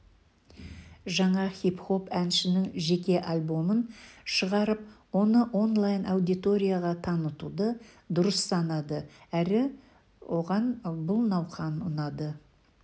жаңа хип-хоп әншінің жеке альбомын шығарып оны онлайн-аудиторияға танытуды дұрыс санады әрі оған бұл науқан ұнады